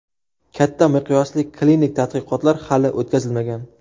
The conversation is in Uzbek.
Katta miqyosli klinik tadqiqotlar hali o‘tkazilmagan.